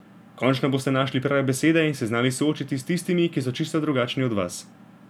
Končno boste našli prave besede in se znali soočiti s tistimi, ki so čisto drugačni od vas.